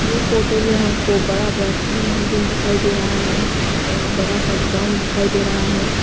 ये फोटो में हमको बड़ा बड़ा तीन बिल्डिंग दिखाई दे रहा है और बड़ा सा ग्राउंड दिखाई दे रहा है।